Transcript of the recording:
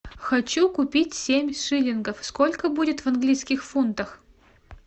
хочу купить семь шиллингов сколько будет в английских фунтах